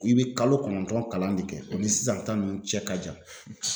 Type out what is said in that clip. I be kalo kɔnɔntɔn kalan de kɛ o ni sisan ta nunnu cɛ ka jan